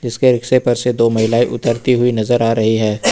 रिक्शे पर से दो महिलाएं उतरती हुईं नजर आ रही हैं।